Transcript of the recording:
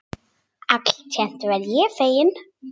Alltént verð ég feginn.